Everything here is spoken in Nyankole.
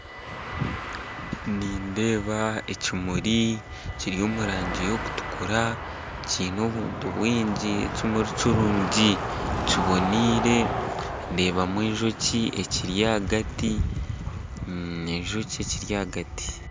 Nindeeba ekimuri kiri omu rangi y'okutukura kiine obuntu bwingi. Kimuri kirungi kiboniire ndeebamu enjoki ekiri hagati enjoki ekiri hagati